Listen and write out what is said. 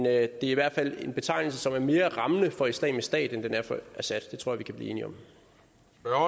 er i hvert fald en betegnelse som er mere rammende for islamisk stat end den er for assad det tror jeg vi kan blive enige